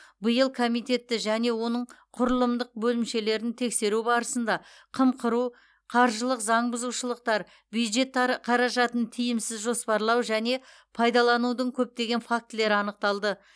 биыл комитетті және оның құрылымдық бөлімшелерін тексеру барысында қымқыру қаржылық заң бұзушылықтар бюджеттары қаражатын тиімсіз жоспарлау және пайдаланудың көптеген фактілері анықталды